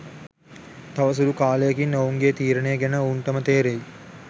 තව සුළු කාලයකින් ඔවුන්ගේ තීරණය ගැන ඔවුන්ටම තේරෙයි